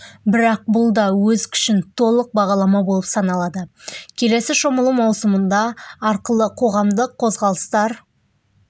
бірақ бұл да өз күшін толық бағаламау болып саналады келесі шомылу маусымында арқылы қоғамдық қозғалыстар